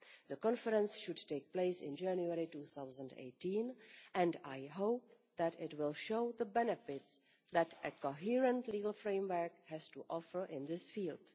The conference should take place in January 2018 and I hope that it will show the benefits that a coherent legal framework has to offer in this field.